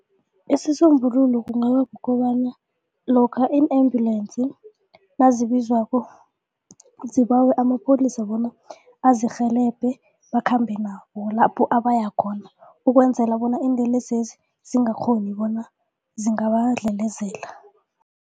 Isisombululo kungaba kukobana lokha i-ambulensi nazibizwako zibawe amapholisa bona azirhelebhi bakhambe nabo lapho abaya khona ukwenzela bona iinlelesezi zingakghoni bona zingabadlelezela.